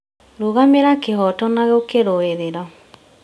Rũgamira kĩhooto na gũkĩrũĩrĩra